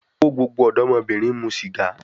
Ko gbogbo odomobirin mu siga